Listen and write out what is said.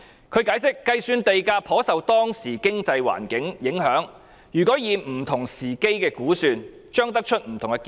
他解釋，計算地價頗受當時經濟環境影響；不同時間的估算，將會得出不同的結論。